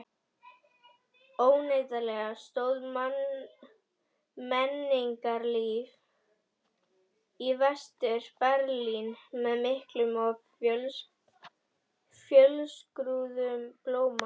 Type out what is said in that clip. Óneitanlega stóð menningarlíf í Vestur-Berlín með miklum og fjölskrúðugum blóma.